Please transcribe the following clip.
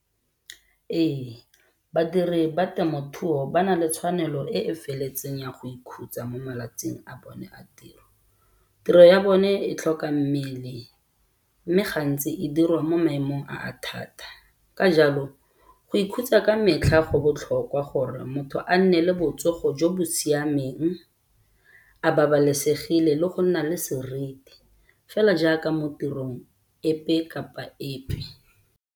Ee, badiri ba temothuo ba na le tshwanelo e e feletseng ya go ikhutsa mo malatsing a bone a tiro, tiro ya bone e tlhoka mmele mme gantsi e dirwa mo maemong a a thata. Ka jalo go ikhutsa ka metlha go botlhokwa gore motho a nne le botsogo jo bo siameng a babalesegile le go nna le seriti fela jaaka mo tirong epe kapa epe.